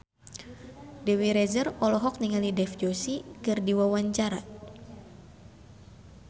Dewi Rezer olohok ningali Dev Joshi keur diwawancara